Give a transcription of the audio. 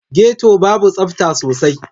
Getto babu tsafta sosai.